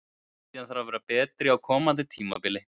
Miðjan þarf að vera betri á komandi tímabili.